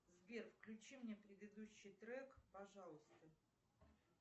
сбер включи мне предыдущий трек пожалуйста